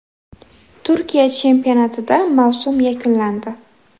Turkiya chempionatida mavsum yakunlandi.